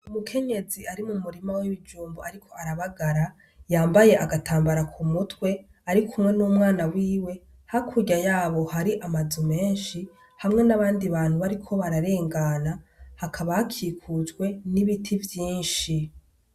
Umugore w' umukenyezi ari mumurima w' ibijumbu ariko arabagara yambaye agatambara kumutwe arikumwe n' umwana wiwe, hakurya yaho hari amazu menshi hamwe n' abandi bariko bararengana hakaba hakikujwe n' ibiti vyinshi.